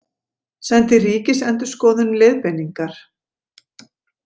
Sendi Ríkisendurskoðun leiðbeiningar